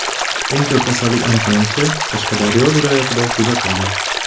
Eng ko‘p kasallik aniqlanishi Qashqadaryo viloyatida kuzatildi.